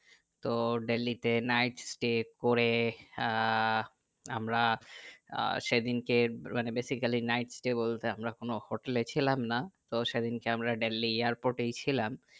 তো দিল্লি তে night stay করে আহ আমরা আহ সেদিনকে মানে basically night stay বলতে আমরা কোন হোটেলে ছিলাম না তো সেদিনকে আমরা দিল্লি airport এ ছিলাম